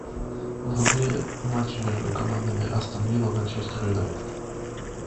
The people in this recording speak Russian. вруби матч между командами астон вилла манчестер юнайтед